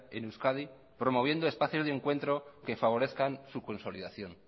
en euskadi promoviendo espacios de encuentro que favorezcan su consolidación